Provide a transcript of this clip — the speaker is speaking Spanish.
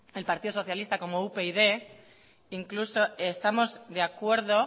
el partido socialista como upyd incluso estamos de acuerdo